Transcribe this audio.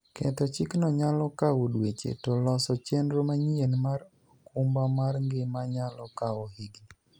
Ketho chikno niyalo kawo dweche, to loso cheniro maniyieni mar okumba mar nigima niyalo kawo higinii.